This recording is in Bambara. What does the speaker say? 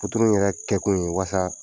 ninnu yɛrɛ kɛkun ye walasa